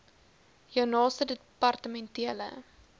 jou naaste departementele